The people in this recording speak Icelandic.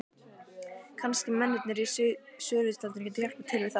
Kannski mennirnir í sölutjaldinu gætu hjálpað til við það.